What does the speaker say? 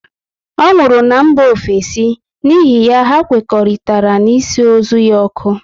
Ọ nwụrụ na mba ofesi, n'ihi ya, hà nkwekọrịtara ịsụ ozu ya ọkụ